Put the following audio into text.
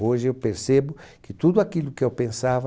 Hoje eu percebo que tudo aquilo que eu pensava